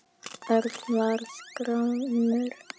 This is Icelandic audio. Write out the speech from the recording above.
Örn varð gramur.